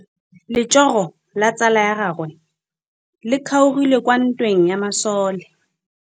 Letsôgô la tsala ya gagwe le kgaogile kwa ntweng ya masole.